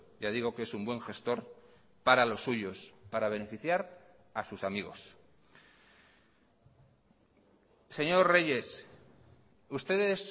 ya digo que es un buen gestor para los suyos para beneficiar a sus amigos señor reyes ustedes